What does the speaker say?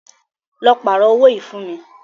Lọ pààrọ́ owó yìí fún mí.